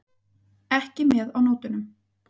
Ekki með á nótunum.